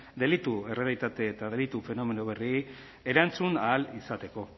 delitu errealitate eta delitu fenomeno berriei erantzun ahal izateko